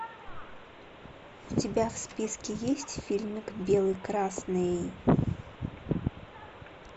у тебя в списке есть фильмик белый красный